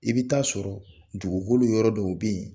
I bɛ taa sɔrɔ dugukolo yɔrɔ dɔw bɛ yen